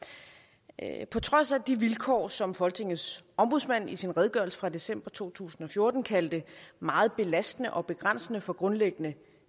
at i på trods af de vilkår som folketingets ombudsmand i sin redegørelse fra december to tusind og fjorten kaldte meget belastende og begrænsende for grundlæggende